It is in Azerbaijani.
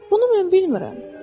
Bunu mən bilmirəm.